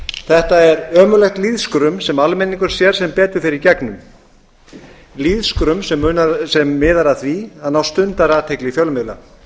þetta er ömurlegt lýðskrum sem almenningur sér sem betur fer í gegnum lýðskrum sem miðar að því að ná stundarathygli fjölmiðla